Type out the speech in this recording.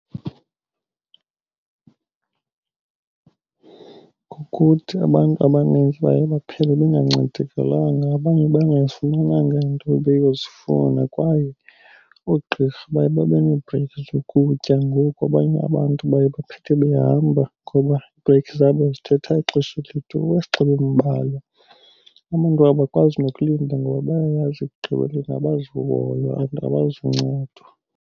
Kukuthi abantu abanintsi baye baphele bengancedekalanga abanye bengazifumenanga iinto bebeyozifuna kwaye oogqirha baye babe nee-break zokutya. Ngoku abanye abantu baye baphethe behamba ngoba ii-break zabo zithatha ixesha elide, iwesi xa bembalwa. Abantu abakwazi nokulinda ngoba bayayazi ekugqibeleni abazuhoywa and abazuncedwa.